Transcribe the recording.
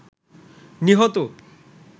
নিহত